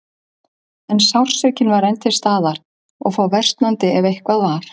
En sársaukinn var enn til staðar og fór versnandi, ef eitthvað var.